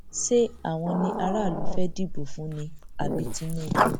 ṣé àwọn ni aráàlú fẹẹ dìbò fún ni àbí tinúbù